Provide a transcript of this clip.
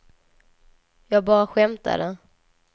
jag bara skämtade